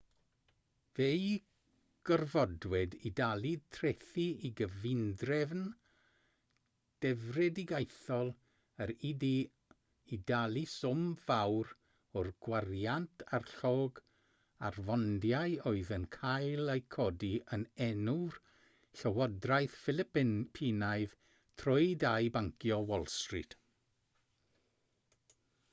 fe'u gorfodwyd i dalu trethi i gyfundrefn drefedigaethol yr u.d. i dalu swm fawr o'r gwariant a'r llog ar fondiau oedd yn cael eu codi yn enw'r llywodraeth philipinaidd trwy dai bancio wall street